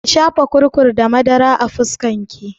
Ki shafa kurkur da madara a fuskar ki!